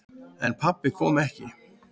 En pabbi kom ekki.